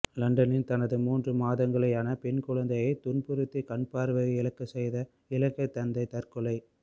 லண்டனில் தனது மூன்று மாதங்களேயான பெண் குழந்தையை துன்புறுத்தி கண்பார்வையை இழக்கச் செய்த இலங்கைத் தந்தை தற்கொலை